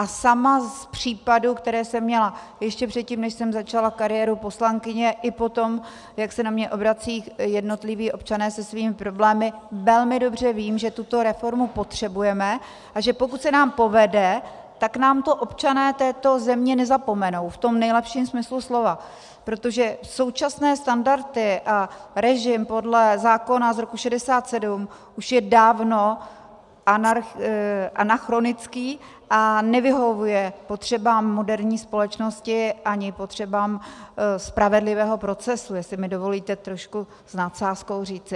A sama z případů, které jsem měla ještě předtím, než jsem začala kariéru poslankyně, i potom, jak se na mě obracejí jednotliví občané se svými problémy, velmi dobře vím, že tuto reformu potřebujeme, a že pokud se nám povede, tak nám to občané této země nezapomenou v tom nejlepším smyslu slova, protože současné standardy a režim podle zákona z roku 67 už je dávno anachronický a nevyhovuje potřebám moderní společnosti ani potřebám spravedlivého procesu, jestli mi dovolíte trošku s nadsázkou říci.